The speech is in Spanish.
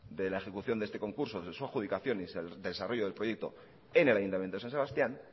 de la ejecución de este concurso de su adjudicación y del desarrollo del proyecto en el ayuntamiento de san sebastián